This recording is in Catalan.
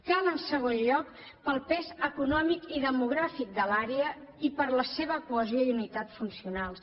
cal en segon lloc per al pes econòmic i demogràfic de l’àrea i per la seva cohesió i unitat funcionals